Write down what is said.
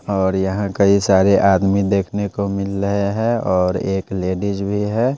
और यहां कई सारे आदमी देखने को मिल रहे हैं और एक लेडीज भी है।